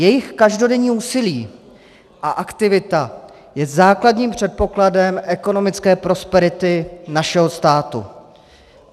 Jejich každodenní úsilí a aktivita je základním předpokladem ekonomické prosperity našeho státu.